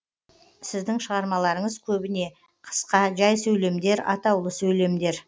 сіздің шығармаларыңыз көбіне қысқа жай сөйлемдер атаулы сөйлемдер